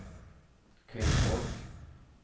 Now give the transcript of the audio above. kvinnfolk